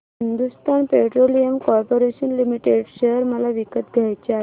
Hindustan petroleum corporation limited share मला विकत घ्यायचे आहेत